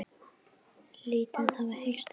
Lítið hafi heyrst um það.